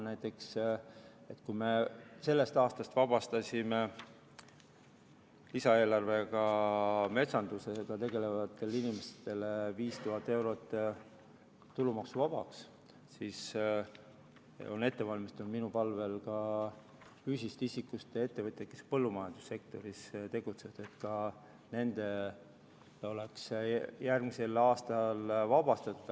Näiteks kui me sellest aastast vabastasime lisaeelarves metsandusega tegelevatele inimestele 5000 eurot tulumaksust, siis on minu palvel järgmiseks aastaks sama vabastus ette valmistatud ka füüsilisest isikust ettevõtjatele, kes tegutsevad põllumajandussektoris.